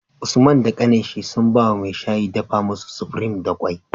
Usman da kanin shi sun bawa mai shayi dafa musu supreme da kwai